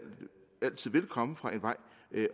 altid vil komme fra en vej